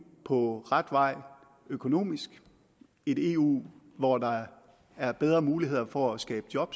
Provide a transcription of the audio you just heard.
på ret vej økonomisk et eu hvor der er bedre muligheder for at skabe job